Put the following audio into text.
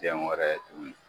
Tiyɛn wɛrɛ tuguni